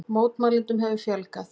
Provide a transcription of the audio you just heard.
Mótmælendum hefur fjölgað